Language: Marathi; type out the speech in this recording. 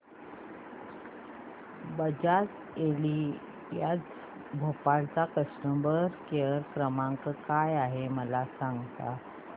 बजाज एलियांज भोपाळ चा कस्टमर केअर क्रमांक काय आहे मला सांगा